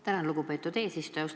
Tänan, lugupeetud eesistuja!